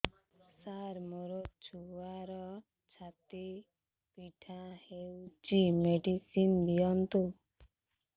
ସାର ମୋର ଛୁଆର ଛାତି ପୀଡା ହଉଚି ମେଡିସିନ ଦିଅନ୍ତୁ